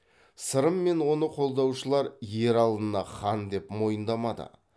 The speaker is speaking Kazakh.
сырым мен оны қолдаушылар ералыны хан деп мойындамады